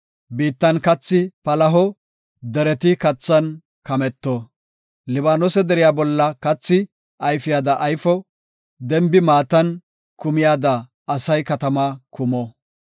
Biittan kathi palaho; dereti kathan kametto. Libaanose deriya bolla kathi ayfiyada ayfo; denbi maatan kumiyada asay katamaa kumo.